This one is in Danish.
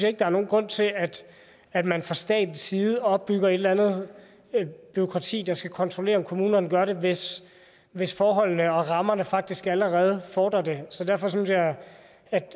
ikke der er nogen grund til at at man fra statens side opbygger et eller andet bureaukrati der skal kontrollere om kommunerne gør det hvis hvis forholdene og rammerne faktisk allerede fordrer det derfor synes jeg